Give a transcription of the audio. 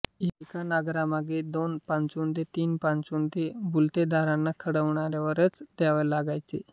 एका नांगरामागे दोन पाचुंदे तीन पाचुंदे बलुतेदारांना खळ्यावरच द्यावे लागायचे